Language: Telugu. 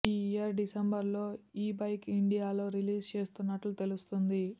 ఈ ఇయర్ డిసెంబర్ లో ఈ బైక్ ఇండియాలో రిలీజ్ చేస్తున్నట్టు తెలుస్తుంది